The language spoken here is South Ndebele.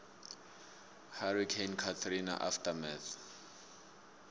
hurricane katrina aftermath